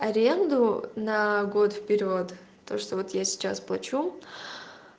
аренду на год вперёд то что вот я сейчас плачу